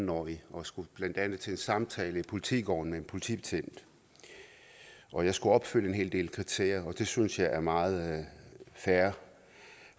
årig og skulle blandt andet til en samtale i politigården med en politibetjent og jeg skulle opfylde en hel del kriterier og det synes jeg er meget fair